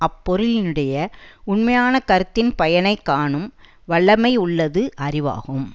அப்பொருளினுடைய உண்மையான கருத்தின் பயனை காணும் வல்லமையுள்ளது அறிவாகும்